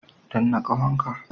Danna ƙahon ka.